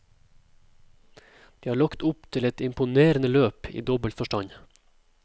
De har lagt opp til et imponerende løp i dobbelt forstand.